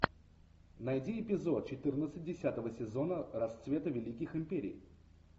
найди эпизод четырнадцать десятого сезона расцвет великих империй